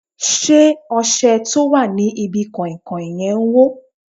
Ṣé ọṣẹ tó wà ní bi kàìnkàìn yẹn hó?